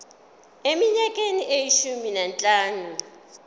eminyakeni eyishumi nanhlanu